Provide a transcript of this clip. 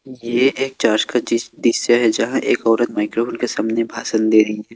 ये एक चर्च का दृश्य है यहां एक औरत माइक्रोफोन के सामने भाषण दे रही है।